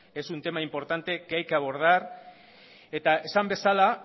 es un tema importante que hay que abordar eta esan bezala